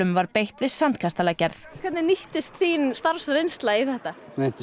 var beitt við hvernig nýttist þín starfsreynsla í þetta